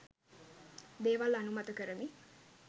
දේවල් අනුමත කරමි.